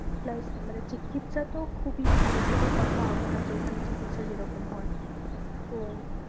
Plus মানে চিকিৎসা তো খুবই ভালো কোনো কথা হবে না ওখানে চিকিৎসা যে রকম হয়। তো